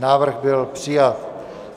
Návrh byl přijat.